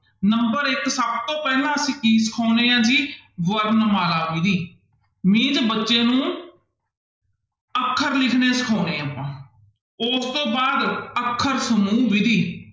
Number ਇੱਕ ਸਭ ਤੋਂ ਪਹਿਲਾਂ ਅਸੀਂ ਕੀ ਸਿਖਾਉਂਦੇ ਹਾਂ ਜੀ ਵਰਣਮਾਲਾ ਵਿੱਧੀ means ਬੱਚੇ ਨੂੰ ਅੱਖਰ ਲਿਖਣੇ ਸਿਖਾਉਂਦੇ ਹਾਂ ਆਪਾਂ, ਉਸ ਤੋਂ ਬਾਅਦ ਅੱਖਰ ਸਮੂਹ ਵਿੱਧੀ